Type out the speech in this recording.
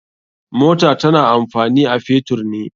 Mota tana amfani a fetur ne.